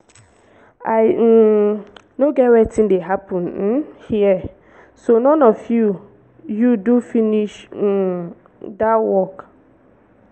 i um no get wetin dey happen um here. so none of you you do finish um dat work?